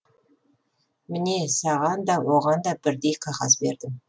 міне саған да оған да бірдей қағаз бердім